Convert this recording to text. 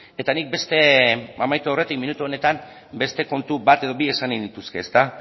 eta nik amaitu aurretik minutu honetan beste kontu bat edo bi esan nahi nituzke